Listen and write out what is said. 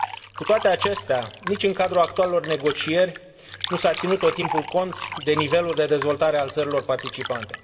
Cu toate acestea, nici în cadrul actualelor negocieri nu s a ținut tot timpul cont de nivelul de dezvoltare al țărilor participante.